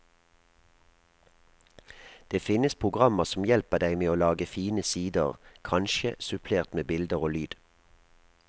Det finnes programmer som hjelper deg med å lage fine sider, kanskje supplert med bilder og lyd.